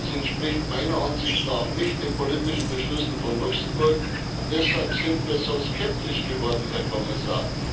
Es entspricht meiner Ansicht nach nicht den politischen Beschlüssen von Luxemburg, und deshalb sind wir so skeptisch geworden, Herr Kommissar.